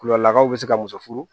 Kulolakaw bɛ se ka muso furu